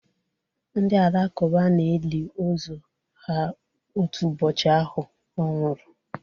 Ndị Alakụba na-eli ozu ha otu ụbọchị ahụ ọ nwụrụ